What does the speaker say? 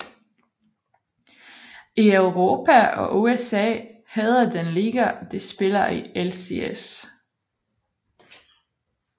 I Europa og USA hedder den liga de spiller i LCS